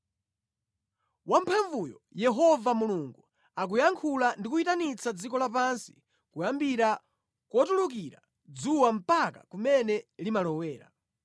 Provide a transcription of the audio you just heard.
Wamphamvuyo, Yehova Mulungu, akuyankhula ndi kuyitanitsa dziko lapansi kuyambira kotulukira dzuwa mpaka kumene limalowera.